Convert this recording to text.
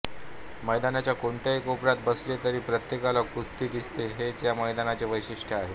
मैदानाच्या कोणत्याही कोपऱ्यात बसले तरी प्रत्येकाला कुस्ती दिसते हेच या मैदानाचे वैशिष्ट्य आहे